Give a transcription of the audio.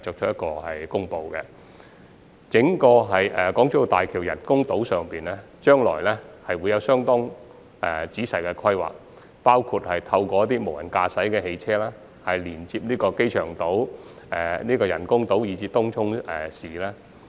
對於整個港珠澳大橋人工島，將來會有相當仔細的規劃，包括透過自動駕駛汽車連接機場島、人工島及東涌市。